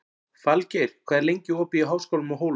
Falgeir, hvað er lengi opið í Háskólanum á Hólum?